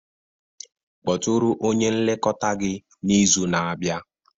Kpọtụrụ onye nlekọta gị n'izu na-abịa